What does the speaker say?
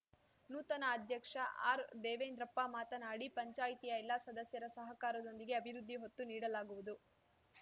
ನೂತನ ಅಧ್ಯಕ್ಷ ಆರ್‌ದೇವೇಂದ್ರಪ್ಪ ಮಾತನಾಡಿ ಪಂಚಾಯಿತಿಯ ಎಲ್ಲ ಸದಸ್ಯರ ಸಹಕಾರದೊಂದಿಗೆ ಅಭಿವೃದ್ಧಿ ಒತ್ತು ನೀಡಲಾಗುವುದು